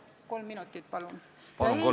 Palun, kolm minutit lisaaega!